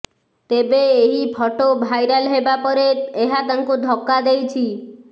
ତେବେ ଏହି photo viral ହେବା ପରେ ଏହା ତାଙ୍କୁ ଧକ୍କା ଦେଇଛି